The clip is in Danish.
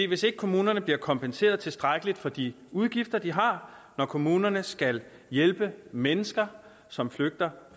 hvis ikke kommunerne bliver kompenseret tilstrækkeligt for de udgifter de har når kommunerne skal hjælpe mennesker som flygter